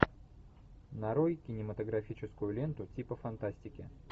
нарой кинематографическую ленту типа фантастики